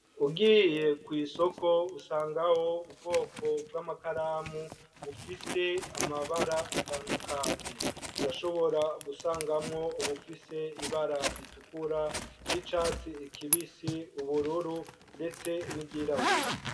Ugiye kw'isoko, usangaho ubwoko bw'amakaramu, bufise amabara atandukanye; urashobora gusangamwo ubufise ibara ritukura, ry'icatsi kibisi, ubururu, ndetse n'iryirabura.